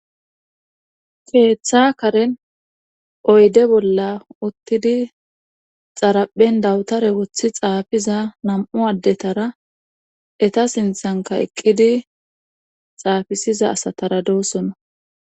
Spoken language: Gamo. keetha karen oyde bolla uttidi xaraphen dawutara wotti xaafiza nam7u addetara eta sinthankka eqqidi xaafissiza asatara doosona.